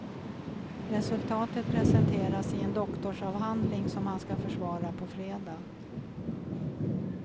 Resultatet presenteras i en doktorsavhandling som han ska försvara på fredag.